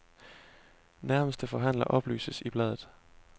Nærmeste forhandler oplyses i bladet.